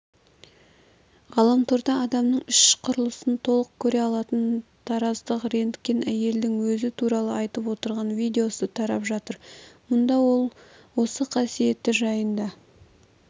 ғаламторда адамның іш құрылысын толық көре алатын тараздық рентген-әйелдің өзі туралы айтып отырған видеосы тарап жатыр мұнда ол осы қасиеті жайында